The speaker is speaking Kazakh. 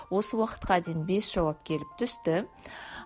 осы уақытқа дейін бес жауап келіп түсті